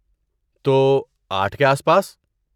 تو، آٹھ کے آس پاس؟